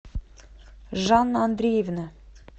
жанна андреевна